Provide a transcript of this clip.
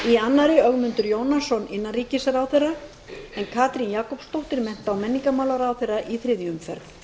annarri ögmundur jónasson innanríkisráðherra en katrín jakobsdóttir mennta og menningarmálaráðherra í þriðju umferð